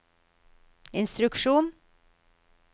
instruksjon